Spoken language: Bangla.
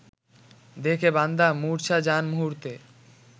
দেখে বান্দা মুর্ছা যান মুহূর্তে